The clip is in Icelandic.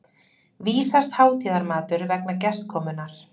vísast hátíðarmatur vegna gestakomunnar.